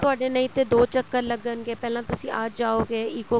ਤੁਹਾਡੇ ਨਹੀਂ ਤੇ ਦੋ ਚੱਕਰ ਲੱਗਣਗੇ ਪਹਿਲਾਂ ਤੁਸੀਂ ਅੱਜ ਆਉਗੇ ECO